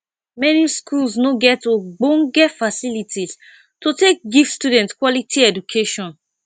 many schools no get ogbonge facilities to take give student quality education